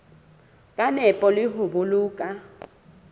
ka nepo le ho boloka